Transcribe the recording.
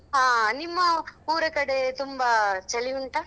ಹಾ ನಿಮ್ಮ ಊರ ಕಡೆ ತುಂಬಾ ಚಳಿ ಉಂಟಾ?